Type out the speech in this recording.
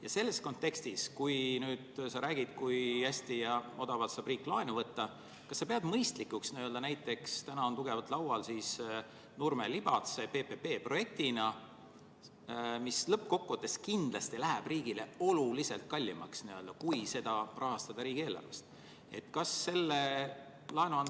Kas sa selles kontekstis, kui sa räägid, kui hästi ja odavalt saab riik laenu võtta, pead mõistlikuks, et näiteks on tugevalt laual Nurme-Libatse teelõik PPP-projektina, mis lõppkokkuvõttes läheb riigile kindlasti oluliselt kallimaks kui selle rahastamine riigieelarvest?